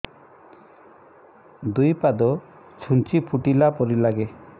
ଦୁଇ ପାଦ ଛୁଞ୍ଚି ଫୁଡିଲା ପରି ଲାଗେ